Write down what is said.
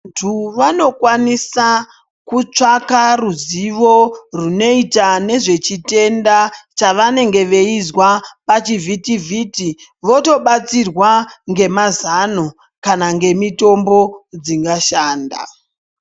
Vantu vanokwanisa kutsvaka ruzivo runoita nezvechitenda chavanenge veizwa pachivhitivhiti votobatsirwa ngemazano kana ngemitombo dzingashanda.